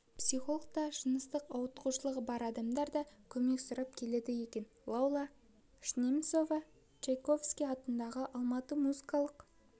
психологқа жыныстық ауытқушылығы бар адамдар да көмек сұрап келеді екен лаула шынемісова чайковский атындағы алматы музыкалық